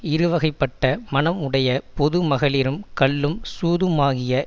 இருவகைப்பட்ட மனம் உடைய பொது மகளிரும் கள்ளும் சூதுமாகிய